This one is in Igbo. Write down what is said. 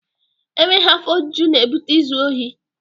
E nweghi afọ ojuju na-ebute izu ohi.